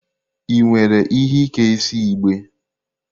Ị nwere ihe Ike isi igbe?